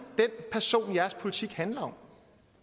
den person jeres politik handler om